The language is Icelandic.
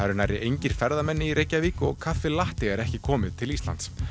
eru nærri engir ferðamenn í Reykjavík og kaffi er ekki komið til Íslands